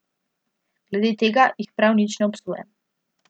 Glede tega jih prav nič ne obsojam.